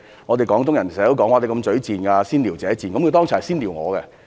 我們廣東人經常說人"嘴賤"、"先撩者賤"，他剛才是先"撩"我。